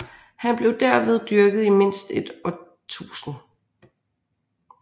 Han blev derved dyrket i mindst et årtusind